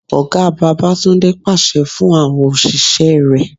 Ọ̀gá Babatunde pàṣẹ fún àwọn òṣìṣẹ́ rẹ.